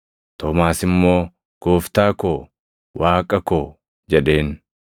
Toomaas immoo, “Gooftaa koo! Waaqa koo!” jedheen.